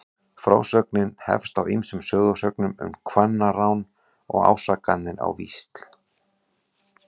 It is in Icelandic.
Frásögnin hefst á ýmsum sögusögnum um kvennarán og ásakanir á víxl.